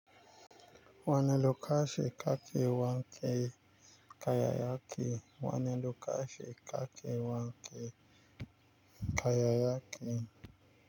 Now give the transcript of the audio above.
Wani lokaci kake wanke kayayyaki? Wane lokaci ka ke wanke kayayyaki?